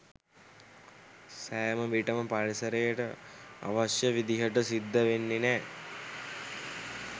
සෑම විටම පරිසරයට අවශ්‍ය විදිහට සිද්ද වෙන්නේ නැ.